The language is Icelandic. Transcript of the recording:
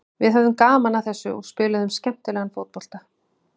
Við höfðum gaman af þessu og spiluðum skemmtilegan fótbolta.